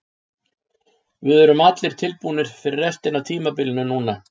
Við erum allir tilbúnir fyrir restina af tímabilinu núna.